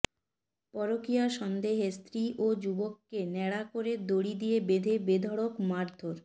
পরকীয়া সন্দেহে স্ত্রী ও যুবককে ন্যাড়া করে দড়ি দিয়ে বেঁধে বেধড়ক মারধর